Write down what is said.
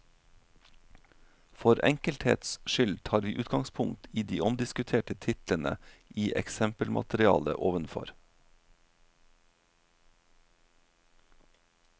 For enkelthets skyld tar vi utgangspunkt i de omdiskuterte titlene i eksempelmaterialet ovenfor.